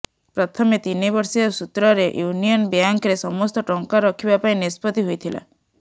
ପ୍ରଥମେ ତିନି ବର୍ଷିଆ ସୁତ୍ରରେ ୟୁନିଅନ୍ ବ୍ୟାଙ୍କରେ ସମସ୍ତ ଟଙ୍କା ରଖିବା ପାଇଁ ନିଷ୍ପତ୍ତି ହୋଇଥିଲା